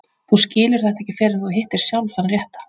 Þú skilur þetta ekki fyrr en þú hittir sjálf þann rétta.